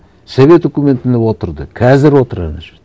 совет үкіметінде отырды қазір отыр ана жерде